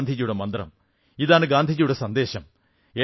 ഇതാണ് ഗാന്ധിജിയുടെ മന്ത്രം ഇതാണ് ഗാന്ധിജിയുടെ സന്ദേശം